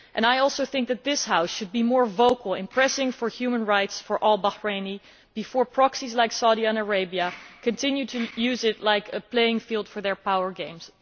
I also think that this House should be more vocal in pressing for human rights for all Bahrainis before proxies like Saudi Arabia continue to use it as a playing field for their power games.